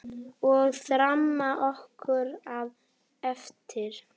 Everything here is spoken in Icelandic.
Og þarna kom það aftur!